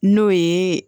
N'o ye